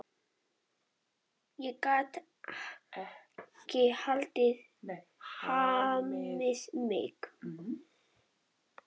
Ég gat ekki hamið mig.